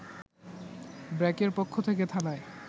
ব্র্যাকের পক্ষ থেকে থানায়